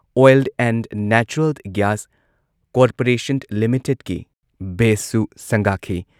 oil and natural gas corporation ꯂꯤꯃꯤꯇꯦꯗꯀꯤ ꯕꯦꯁꯁꯨ ꯁꯪꯒꯥꯈꯤ